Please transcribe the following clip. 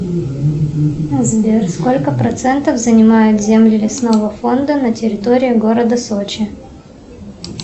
сбер сколько процентов занимают земли лесного фонда на территории города сочи